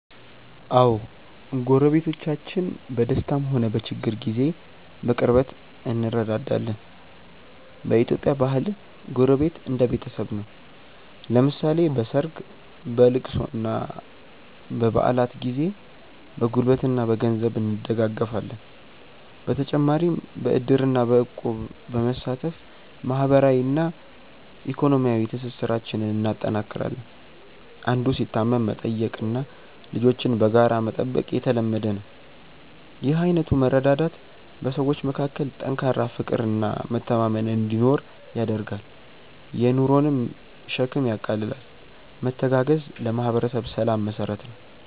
አዎ፣ ጎረቤቶቻችን በደስታም ሆነ በችግር ጊዜ በቅርበት እንረዳዳለን። በኢትዮጵያ ባህል ጎረቤት እንደ ቤተሰብ ነው፤ ለምሳሌ በሰርግ፣ በልቅሶና በበዓላት ጊዜ በጉልበትና በገንዘብ እንደጋገፋለን። በተጨማሪም በዕድርና በእቁብ በመሳተፍ ማህበራዊና ኢኮኖሚያዊ ትስስራችንን እናጠናክራለን። አንዱ ሲታመም መጠየቅና ልጆችን በጋራ መጠበቅ የተለመደ ነው። ይህ አይነቱ መረዳዳት በሰዎች መካከል ጠንካራ ፍቅርና መተማመን እንዲኖር ያደርጋል፤ የኑሮንም ሸክም ያቃልላል። መተጋገዝ ለማህበረሰብ ሰላም መሰረት ነው።